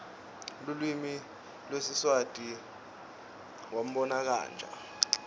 lulwimi lwesiswati wnabonkhamija